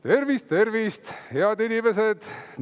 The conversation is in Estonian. Tervist, tervist, head inimesed!